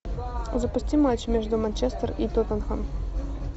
запусти матч между манчестер и тоттенхэм